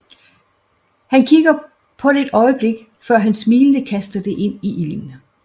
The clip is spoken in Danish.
Han kigger på det et øjeblik før han smilende kaster det ind i ilden